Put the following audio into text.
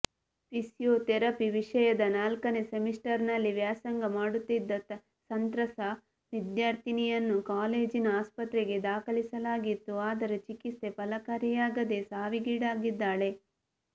physiotherapy ವಿಷಯದ ನಾಲ್ಕನೇ ಸೆಮಿಸ್ಟರ್ನಲ್ಲಿ ವ್ಯಾಸಂಗ ಮಾಡುತ್ತಿದ್ದ ಸಂತ್ರಸ್ಥ ವಿದ್ಯಾರ್ಥಿನಿಯನ್ನು ಕಾಲೇಜಿನ ಆಸ್ಪತ್ರೆಗೆ ದಾಖಲಿಸಲಾಗಿತ್ತು ಆದರೆ ಚಿಕಿತ್ಸೆ ಫಲಕಾರಿಯಾಗದೆ ಸಾವಿಗೀಡಾಗಿದ್ದಾಳೆ